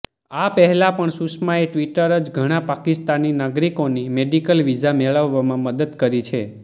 આ પહેલા પણ સુષમાએ ટ્વીટર જ ઘણા પાકિસ્તાની નાગરિકોની મેડિકલ વીઝા મેળવવામાં મદદ કરી છે